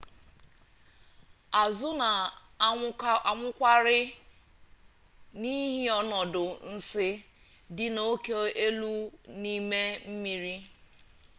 azụ na anwụkwarị n'ihi ọnọdụ nsi dị oke elu n'ime mmiri